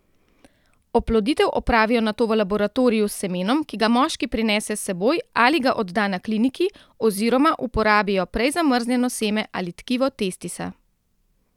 Oploditev opravijo nato v laboratoriju s semenom, ki ga moški prinese s seboj ali ga odda na kliniki, oziroma uporabijo prej zamrznjeno seme ali tkivo testisa.